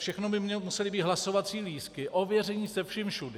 Všichni by museli mít hlasovací lístky, ověření se vším všudy.